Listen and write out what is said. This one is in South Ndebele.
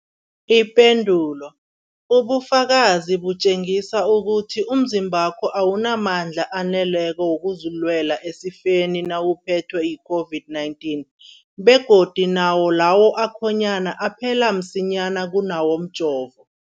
Ipendulo, ubufakazi butjengisa ukuthi umzimbakho awunamandla aneleko wokuzilwela esifeni nawuphethwe yi-COVID-19, begodu nawo lawo akhonyana aphela msinyana kunawomjovo.